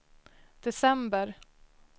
december